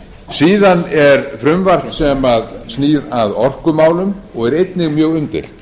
síðan er frumvarp sem snýr að orkumálum og er einnig mjög umdeilt